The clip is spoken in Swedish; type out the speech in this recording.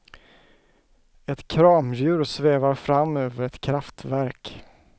Ett kramdjur svävar fram över ett kraftverk.